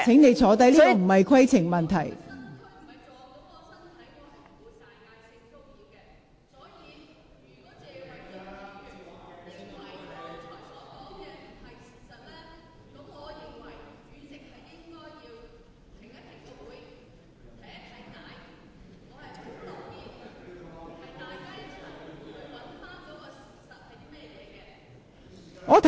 你所提述的並非規程問題，請坐下。